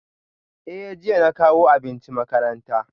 Eh jiya na kawo abinci makaranta